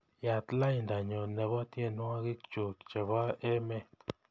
Yaat laindanyu nebo tyenwogikchuk chebo emet